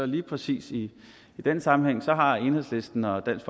lige præcis i den sammenhæng har enhedslisten og dansk